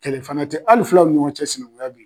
Kɛlɛ fana tɛ ali fulaw ni ɲɔɔn cɛ sinankunya be ye.